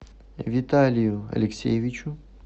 виталию алексеевичу